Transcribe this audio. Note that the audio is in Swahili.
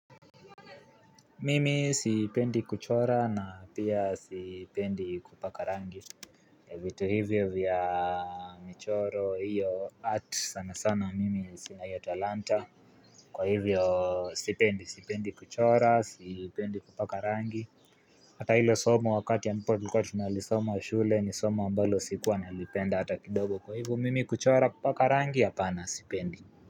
Mimi sipendi kuchora na pia sipendi kupaka rangi vitu hivyo vya michoro hiyo art sana sana mimi sina hio talanta Kwa hivyo sipendi sipendi kuchora sipendi kupaka rangi Hata hilo somo wakati ambapo tulikuwa tunalisoma shule ni somo ambalo sikuwa nalipenda hata kidogo kwa hivyo mimi kuchora kupaka rangi hapana sipendi.